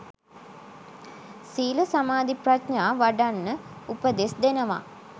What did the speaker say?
සීල සමාධි ප්‍රඥා වඩන්න උපදෙස් දෙනවා